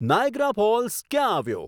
Niagara Falls ક્યાં આવ્યો